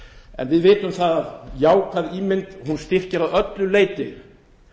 en við vitum að jákvæð ímynd styrkir að öllu leyti